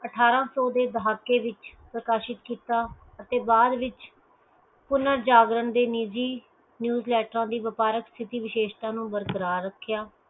ਅਠ੍ਹਾਰਾਂ ਸੋ ਦੇ ਦਹਾਕੇ ਵਿਚ ਪ੍ਰਕਾਸ਼ਿਤ ਕੀਤਾ ਅਤੇ ਬਾਅਦ ਵਿਚ ਪੁਨਰ ਜਾਗਰਣ ਦੀ ਨਿਜੀ newsletter ਦੀ ਵਪਾਰਕ ਸਥਿਤਹਿ ਵਿਸ਼ੇਸ਼ਤਾ ਨੂੰ ਬਰਕਰਾਰ ਰੱਖਿਆ